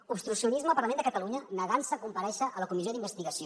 obstruccionisme al parlament de catalunya negant se a comparèixer a la comissió d’investigació